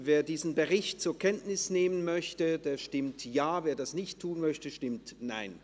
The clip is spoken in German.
Wer diesen Bericht zur Kenntnis nehmen will, stimmt Ja, wer dies ablehnt, stimmt Nein.